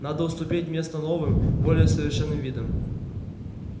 надо уступить место новым более совершенным видам